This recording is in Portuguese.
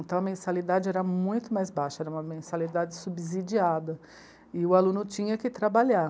Então a mensalidade era muito mais baixa, era uma mensalidade subsidiada e o aluno tinha que trabalhar.